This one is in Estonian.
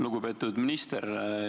Lugupeetud minister!